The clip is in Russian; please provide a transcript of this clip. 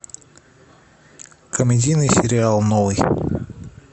комедийный сериал новый